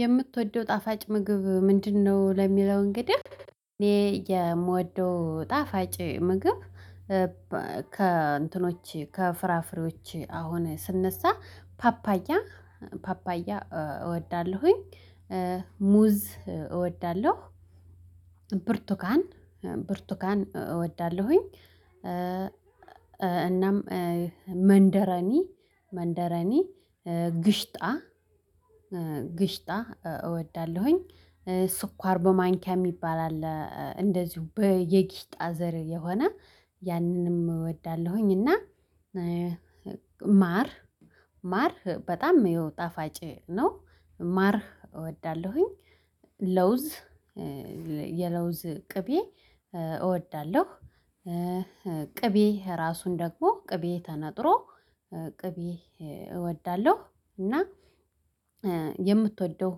የምትወደው ጣፋጭ ምግብ ምንድነው? ለሚለው፣ እንግዲህ እኔ የምወደው ጣፋጭ ምግብ ከእንትኖች ከፍራፍሬዎች አሁን ስነሳ፣ ፓፓያ ፓፓያ እወዳለሁኝ፤ ሙዝ እወዳለሁ። ብርቱካን ብርቱካን እወዳለሁኝ፤ እናም መንደሪን መንደሪን፣ ግሽጣ ግሽጣ እወዳለሁኝ። ስኳር በማንኪያ የሚባል አለ፤ እንደዚሁ የግሽጣ ዘር የሆነ፣ ያንንም እወዳለሁኝ፤ እና ማር ማር በጣም ይኸው ጣፋጭ ነው፤ ማር እወዳለሁኝ፤ ለውዝ የለውዝ ቅቤ እወዳለሁ። "ቅቤ ራሱን ደግሞ ቅቤ ተነጥሮ ቅቤ እወዳለሁ፤ እና የምትወደው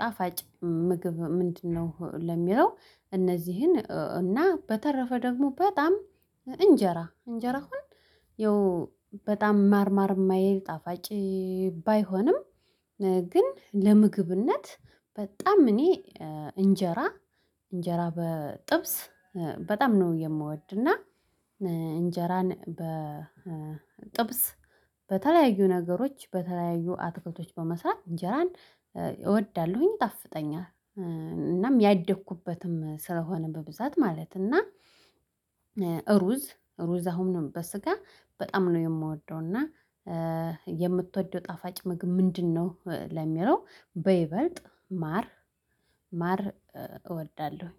ጣፋጭ ምግብ ምንድነው? ለሚለው እነዚህን፤ እና በተረፈ ደግሞ በጣም እንጀራ እንጀራ አሁን ያው በጣም ማር ማር የማይሂል፣ ጣፋጭ ባይሆንም ግን ለምግብነት በጣም እኔ እንጀራ እንጀራ በጥብስ በጣም ነው የምወድ፤ እና እንጀራን በጥብስ፣ በተለያዩ ነገሮች፣ በተለያዩ አትክልቶች በመስራት እንጀራን እወዳለሁኝ፤ ይጣፍጠኛል። እናም ያደግኩበትም ስለሆነ በብዛት ማለት ነው፤ እና ሩዝ ሩዝ አሁንም በሥጋ በጣም ነው የምወደው፤ እና የምትወደው ጣፋጭ ምግብ ምንድነው? ለሚለው፣ በይበልጥ ማር ማር እወዳለሁ።